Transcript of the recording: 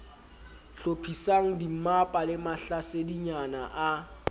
hlophisang dimmapa le mahlasedinyana a